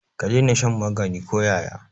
Ka daina shan magani ko yaya.